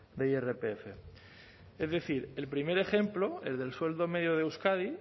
de irpf es decir el primer ejemplo el del sueldo medio de euskadi